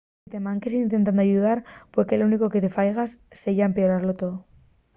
si te manques intentando ayudar pue que lo único que faigas seya empeoralo too